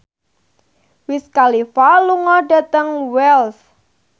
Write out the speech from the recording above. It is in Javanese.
Wiz Khalifa lunga dhateng Wells